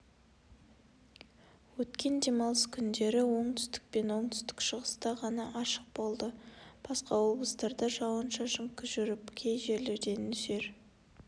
өткен демалыс күндері оңтүстік пен оңтүстік-шығыста ғана ашық болды басқа облыстарда жауын-шашын жүріп кей жерлерде нөсер